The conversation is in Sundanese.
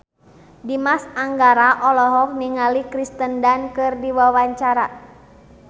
Dimas Anggara olohok ningali Kirsten Dunst keur diwawancara